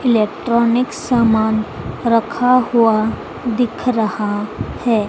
Electronic समान रखा हुआ दिख रहा है।